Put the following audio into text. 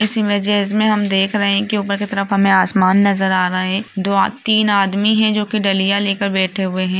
इस इमेजेज में हम देख रहें हैं की ऊपर की तरफ हमें आसमान नजर आ रहा है दो तीन आदमी हैं जो की डलिया लेके बैठे हुए हैं।